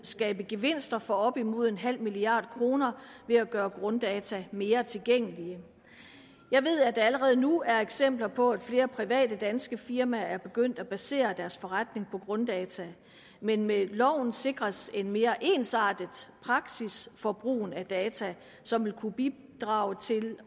skabe gevinster for op imod nul milliard kroner ved at gøre grunddata mere tilgængelige jeg ved at der allerede nu er eksempler på at flere private danske firmaer er begyndt at basere deres forretning på grunddata men med loven sikres en mere ensartet praksis for brugen af data som vil kunne bidrage til